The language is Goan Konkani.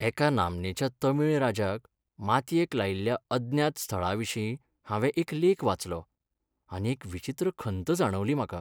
एका नामनेच्या तमीळ राजाक मातयेक लायिल्ल्या अज्ञात स्थळाविशीं हांवें एक लेख वाचलो आनी एक विचित्र खंत जाणवली म्हाका.